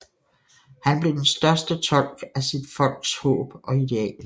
Han blev den største tolk af sit folks håb og idealer